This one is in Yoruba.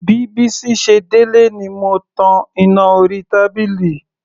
Bí Bísí ṣe délé ni mo tan iná orí tábìlì.